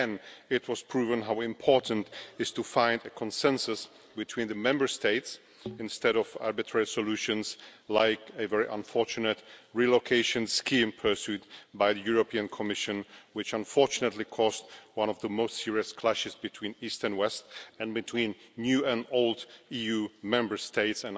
Again it was proven how important it is to find a consensus between the Member States instead of arbitrary solutions, like the very unfortunate relocation scheme pursued by the Commission, which unfortunately caused one of the most serious clashes yet between East and West and between new and old EU Member States.